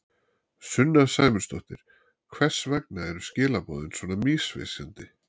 Sunna Sæmundsdóttir: Hvers vegna eru skilaboðin svona misvísandi?